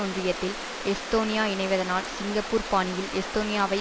ஒன்றியத்தில் எஸ்தோனியா இணைவதனால் சிங்கப்பூர் பாணியில் எஸ்தோனியாவை